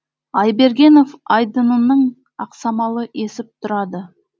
айбергенов айдынының ақсамалы есіп тұрады